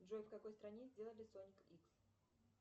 джой в какой стране сделали соник икс